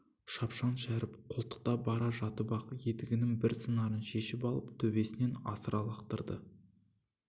шапшаң шәріп қолтықта бара жатып-ақ етігінің бір сыңарын шешіп алып төбесінен асыра лақтырды